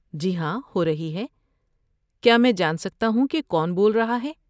جی ہاں، ہو رہی ہے۔ کیا میں جان سکتا ہوں کہ کون بول رہا ہے؟